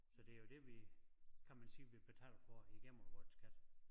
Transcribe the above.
Så det jo det vi kan man sige vi betaler for igennem vort skat